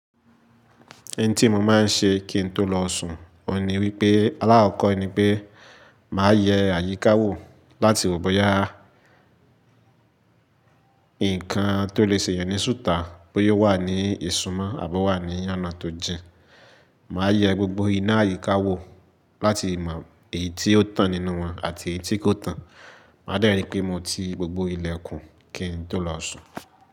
Oun tí mo máa ń ṣe kí n tó lọ sùn, òní wípé, alákọ̀kọ́ ni pé, màá yẹ àyíká wò láti wò bóyá ǹkan tó lè ṣẹ èyán ní sùta bóyá ó wà ní ìsumọ́ àbó wà ní ọ̀nà tó jìn. Màá yẹ gbogbo ina àyíká wò láti mọ èyí tí ó tàn nínú wọn àti èyí tí kò tàn. Màá dé rí pé mo ti gbogbo ilẹ̀kùn kí n tó lọ sùn.